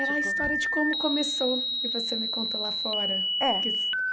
Era a história de como começou, e você me contou lá fora. É que